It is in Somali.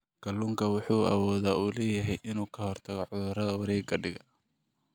Kalluunku wuxuu awood u leeyahay inuu ka hortago cudurrada wareegga dhiigga.